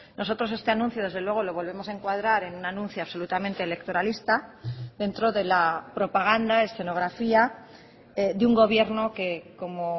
nosotros este anuncio desde luego lo volvemos a encuadrar en un anuncio absolutamente electoralista dentro de la propaganda escenografía de un gobierno que como